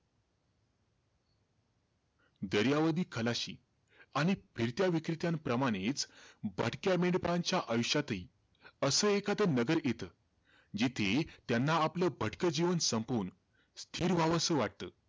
दर्यावादी खलाशी आणि फिरत्या विक्रेत्यांप्रमाणेचं, भटक्या मेंढपाळांच्या आयुष्यातही, असं एखाद नगर येतं, जिथे, त्यांना आपलं भटक जीवन संपवून स्थिर व्हावसं वाटतं.